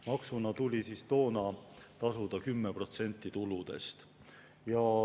Maksuna tuli toona tasuda 10% tuludest.